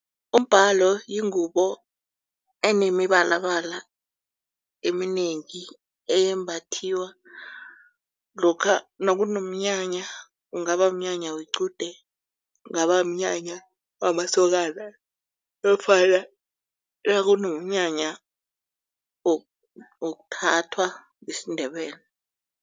Umbhalo yingubo enemibalabala eminengi eyembathiwa lokha nakunomnyanya. Kungaba mnyanya wequde. Kungaba mnyanya wamasokana nofana nakunomnyanya wokuthathwa isiNdebele.